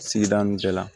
Sigida nun bɛɛ la